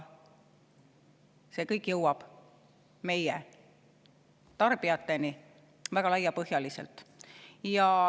See kõik jõuab tarbijateni väga laiapõhjaliselt.